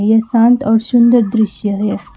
यह शांत और सुंदर दृश्य है।